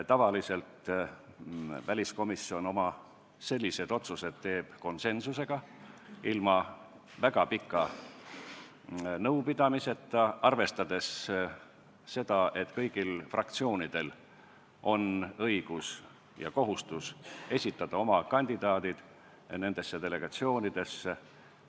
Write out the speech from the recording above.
Tavaliselt teeb väliskomisjon oma sellised otsused konsensuslikult, ilma väga pika nõupidamiseta, arvestades seda, et kõigil fraktsioonidel on õigus ja kohustus esitada oma kandidaadid nendesse delegatsioonidesse.